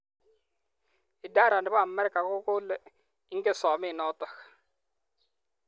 Idara ne bo amerika kokole ingen somet notok.